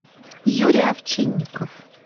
юрий овчинников